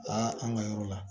an ka yɔrɔ la